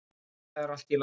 En það er allt í lagi.